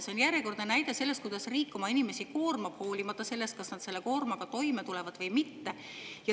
See on järjekordne näide sellest, kuidas riik oma inimesi koormab hoolimata sellest, kas nad selle koormaga toime tulevad või mitte.